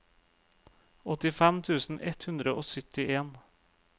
åttifem tusen ett hundre og syttien